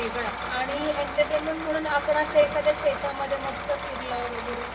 वेगळा आणि एंटरटेनमेंट म्हणून आपण अश्या एखाद्या शेतामध्ये मस्त फिरल वैगरे